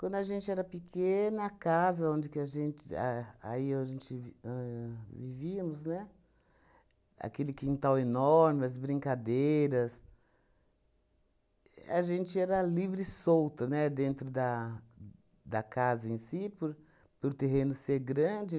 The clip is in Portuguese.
Quando a gente era pequena, a casa onde que a gente a aí onde vi ahn vivíamos, né, aquele quintal enorme, as brincadeiras... A gente era livre e solta, né, dentro da da casa em si, por por o terreno ser grande.